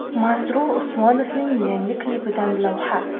Masrur Usmonovning yangi klipidan lavha.